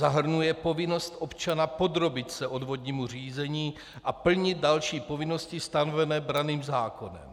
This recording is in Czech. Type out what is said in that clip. Zahrnuje povinnost občana podrobit se odvodnímu řízení a plnit další povinnosti stanové branným zákonem.